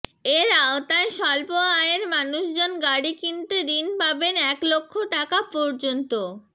এর আওতায় স্বল্প আয়ের মানুষজন গাড়ি কিনতে ঋণ পাবেন এক লক্ষ টাকা পর্যন্ত